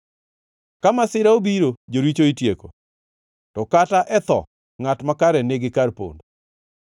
Ka masira obiro, joricho itieko, to kata e tho ngʼat makare nigi kar pondo.